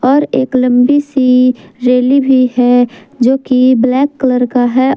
और एक लंबी सी रैली भी है जो की ब्लैक कलर का है।